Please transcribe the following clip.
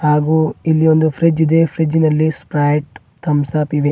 ಹಾಗೂ ಇಲ್ಲಿ ಒಂದು ಫ್ರಿಡ್ಜ್ ಇದೆ ಫ್ರಿಡ್ಜ್ ನಲ್ಲಿ ಸ್ಪ್ರೈಟ್ ಥಂಬ್ಸ್ ಅಪ್ ಇವೆ.